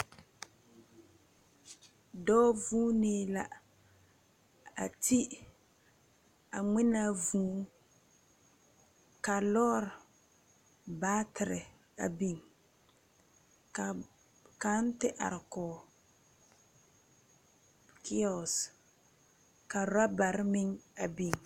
Doɔ zuunee la a te a ngmenaa vũũ ka loore batery a beng ka kang te arẽ koɔ kiosh ka rubare meng a beng.